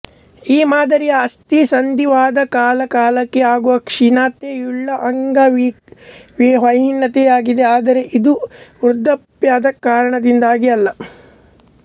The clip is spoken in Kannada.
ಈ ಮಾದರಿಯ ಅಸ್ಥಿ ಸಂಧಿವಾತ ಕಾಲ ಕಾಲಕ್ಕೆ ಆಗುವ ಕ್ಷೀಣತೆಯುಳ್ಳ ಅಂಗವಿಹಿನತೆಯಾಗಿದೆ ಆದರೆ ಇದು ವೃದ್ಧ್ಯಾಪ್ಯದ ಕಾರಣದಿಂದಾಗಿ ಅಲ್ಲ